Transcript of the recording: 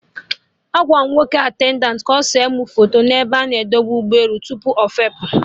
Agwara m nwoke attendantị ụgbọ elu ka ọ se mụ foto n'ebe a na-edebe ụgbọ elu tupu ọfepụ